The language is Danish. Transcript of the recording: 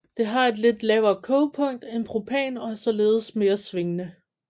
Det har et lidt lavere kogepunkt end propan og er således mere svingende